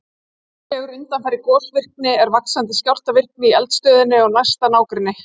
Líklegur undanfari gosvirkni er vaxandi skjálftavirkni í eldstöðinni og næsta nágrenni.